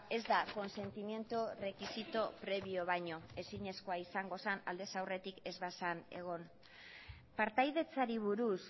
ez da consentimiento requisito previo baino ezinezkoa izango zen aldez aurretik ez bazen egon partaidetzari buruz